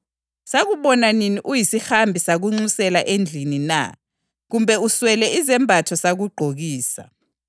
Abalungileyo bazamphendula bathi, ‘Nkosi, sakubona nini ulambile sakupha ukudla na, kumbe womile sakunathisa?